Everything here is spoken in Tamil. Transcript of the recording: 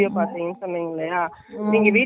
full ல இல்லாமல் anarkali .